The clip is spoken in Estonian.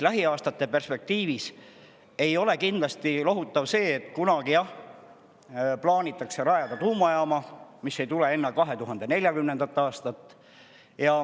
Lähiaastate perspektiivis ei ole lohutav ka see, et kunagi plaanitakse rajada tuumajaam, sest see ei tule enne 2040. aastat.